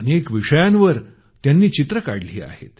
अनेक विषयांवर त्यांनी पेंटिंग्ज बनवली आहेत